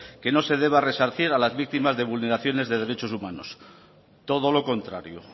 que no se deba resarcir a las víctimas de vulneraciones de derechos humanos todo lo contrario